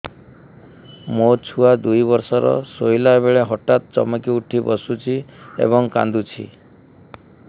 ମୋ ଛୁଆ ଦୁଇ ବର୍ଷର ଶୋଇଲା ବେଳେ ହଠାତ୍ ଚମକି ଉଠି ବସୁଛି ଏବଂ କାଂଦୁଛି